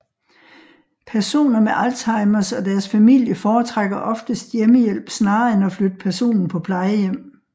Personer med Alzheimers og deres familie foretrækker oftest hjemmehjælp snarere end at flytte personen på plejehjem